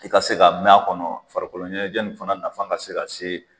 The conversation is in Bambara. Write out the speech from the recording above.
I ka se ka mɛn a kɔnɔ farikolo ɲɛnajɛ in fana nafan ka se ka se